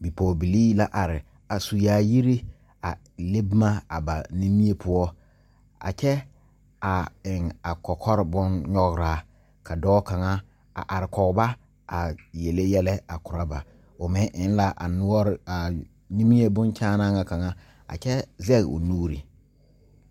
Bipɔgɔ bilii la are a su yaayire a le boma a ba nimie poʊ. A kyɛ a eŋ a kɔkɔre boŋ nyɔgraa ka dɔɔ kanga a are kɔ ba a yɛleɛ yɛlɛ a koro ba. O meŋ eŋ la a nuore a nimie boŋ kyaanaa kanga a kyɛ zeŋ o nuure